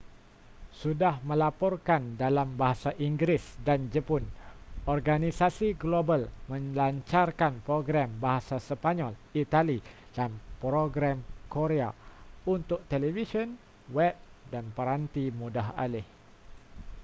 sudah melaporkan dalam bahasa inggeris dan jepun organisasi global melancarkan program bahasa sepanyol itali dan program korea untuk televisyen web dan peranti mudah alih